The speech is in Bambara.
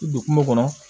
I don kungo kɔnɔ